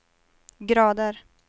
grader